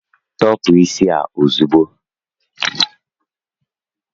Tọpu isi a ozugbo!